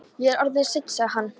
Ég er orðinn seinn, sagði hann.